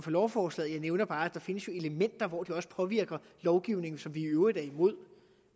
lovforslaget jeg nævner bare at der jo findes elementer hvor det også påvirker lovgivning som vi i øvrigt er imod